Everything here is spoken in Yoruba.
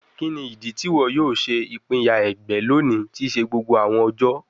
Kini idi ti iwọ yoo ṣe ipinya ẹgbẹ loni ti se gbogbo awọn ọjọ?